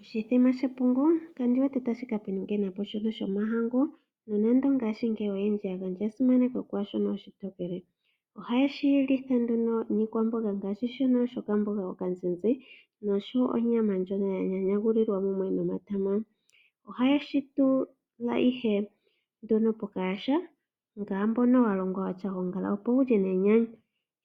Oshithima shepungu kandi wete tashi ka pingena po shono shomahangu. Nonando ngashingeyi oyendji ya gandja esimano kwaa shono oshitokele. Ohaye shi litha nduno niikwamboga, ngaashi okamboga okazizi noshowo onyama ndjono ya nyanyulilwa mumwe nomatama. Ohaye shi tula ihe nduno pokayaha, ngaashi mbono wa longwa wu na oongala, opo ya lye nenyanyu.